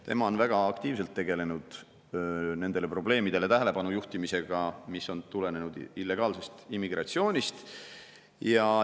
Tema on väga aktiivselt tegelenud nendele probleemidele tähelepanu juhtimisega, mis on tulenenud illegaalsest immigratsioonist.